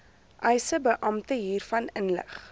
eisebeampte hiervan inlig